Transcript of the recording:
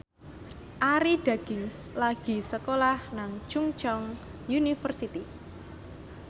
Arie Daginks lagi sekolah nang Chungceong University